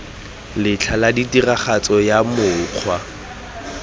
letlha la tiragatso ya mokgwa